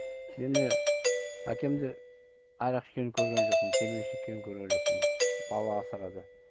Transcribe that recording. мені әкемді арақ ішкенін көрген жоқпын темекі шеккенін көрген жоқпын бала асырады